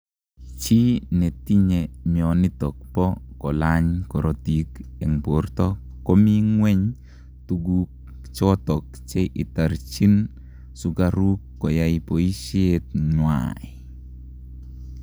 Chii netinyee mionitok poo kolany korotik eng portoo komii ngweeny tuguk chotok che itarchiin sukaruuk koyai poisheet ngwai